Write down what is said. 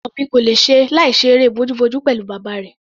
Ọmọ mi kò lè ṣe láìṣe eré bojúbojú pẹ̀lú bàbá rẹ̀.